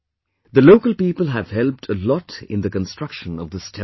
The local people have helped a lot in the construction of this Temple